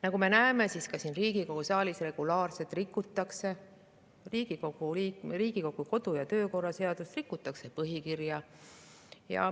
Nagu me näeme, siis ka siin Riigikogu saalis regulaarset rikutakse Riigikogu kodu‑ ja töökorra seadust, rikutakse põhi.